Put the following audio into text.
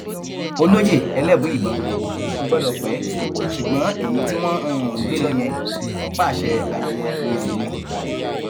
olóye elébùíbọn kò gbọdọ pẹ ṣùgbọn èyí tí wọn um gbé lọ yẹn ọpáàṣẹ ayẹyẹ um ni